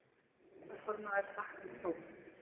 Varaformaður þakkaði próf.